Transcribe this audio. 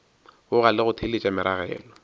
boga le go theeletša meragelo